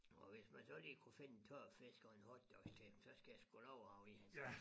Og hvis man så lige kunne finde en tør fisk og en hotdogs til ham så skal jeg sgu love han var i hans es